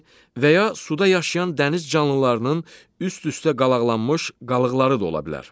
və ya suda yaşayan dəniz canlılarının üst-üstə qalaqlanmış qalıqları da ola bilər.